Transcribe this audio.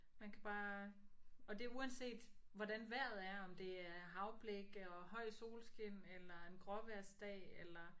Man kan bare og det er uanset hvordan vejret er om det er havblik og høj solskin eller en gråvejrsdag eller